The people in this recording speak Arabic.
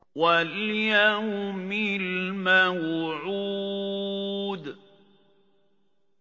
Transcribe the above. وَالْيَوْمِ الْمَوْعُودِ